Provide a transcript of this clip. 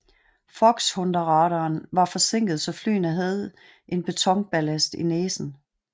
Foxhunterradaren var forsinket så flyene havde en betonballast i næsen